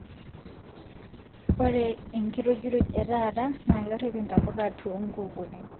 Ore enkirujuruj etaata naa kerip intapuka too nkukunik